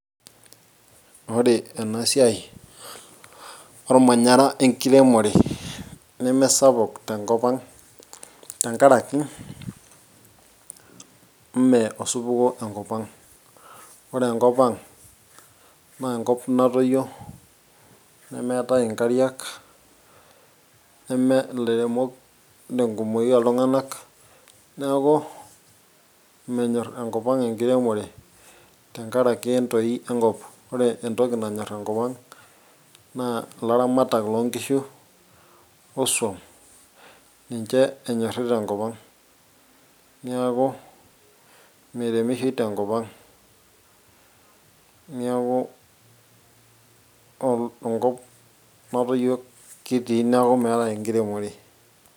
ore ena siai ormanyara enkiremore nemesapuk tenkop ang tenkaraki ime osupuko enkop ang ore enkop ang naa enkop natoyio nemeetae inkariak neme ilairemok tenkumoki oltung'anak neeku menyorr enkop ang enkiremore tenkaraki entoi enkop ore entoki nanyorr enkop ang naa ilaramatak lonkishu osuam ninche enyorri tenkop ang niaku miremishoi tenkop ang niaku ol enkop natoyio kitii neeku meetae enkiremore.